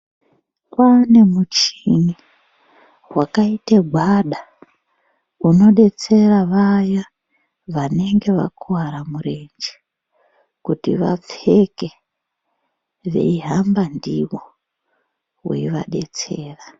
Kwava nemuchini wakaite gwada unodetsere vaya vanenge vakuwara murenje kuti vapfeke veihamba ndiwo weivadetsera.